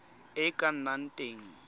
e e ka nnang teng